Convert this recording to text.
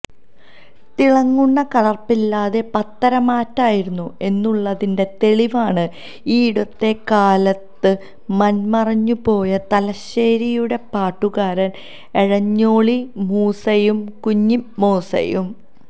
തിളങ്ങുന്ന കലർപ്പില്ലാത്ത പത്തര മാറ്റായിരുന്നു എന്നുള്ളതിന്റെ തെളിവാണ് ഈയടുത്ത കാലത്ത് മൺമറഞ്ഞുപോയ തലശ്ശേരിയുടെ പാട്ടുകാരൻ എരഞ്ഞോളി മൂസയും കുഞ്ഞിമൂസയും